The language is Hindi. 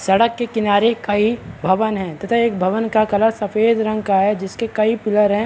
सड़क के किनारे कई भवन हैं तथा एक भवन का कलर सफ़ेद रंग का है जिसके कई पिलर हैं।